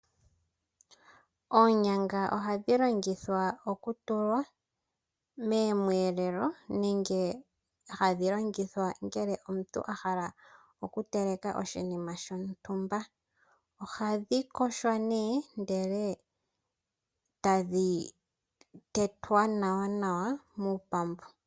Oonyanga ohadhi longithwa okutulwa moomweelelo nenge hadhi longithwa ngele omuntu ahala okuteleka oshinima shontumba. Ohadhi yogwa nee ndele tadhi tetwa nawa muupambu.